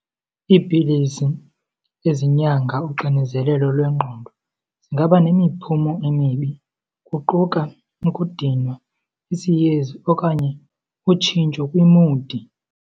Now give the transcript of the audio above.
Iipilisi ezinyanga uxinezelelo lwengqondo zingaba nemiphumo emibi kuquka ukudinwa, isiyezi okanye utshintsho kwimudi.